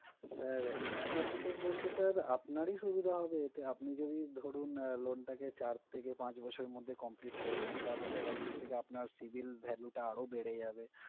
Sir extra features বলতে sir আপনারই সুবিধা হবে এতে, আপনি যদি ধরুন loan টাকে চার থেকে পাঁচ বছরের মধ্যে complete করে দেন, তাহলে sir একদিক থেকে আপনার civil value টা আরও বেড়ে যাবে।